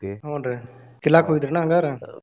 ಹೂನ್ರೀ ಕಿಲ್ಲಾಕ್ ಹೋಗಿದ್ರಿ ಏನ ಹಂಗಾರ.